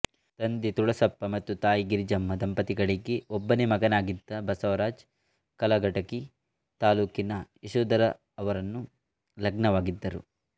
ತಂದೆ ತುಳಸಪ್ಪ ಮತ್ತು ತಾಯಿ ಗಿರಿಜಮ್ಮ ದಂಪತಿಗಳಿಗೆ ಒಬ್ಬನೇ ಮಗನಾಗಿದ್ದ ಬಸವರಾಜ್ ಕಲಘಟಗಿ ತಾಲ್ಲೂಕಿನ ಯಶೋದರವರನ್ನು ಲಗ್ನವಾಗಿದ್ದರು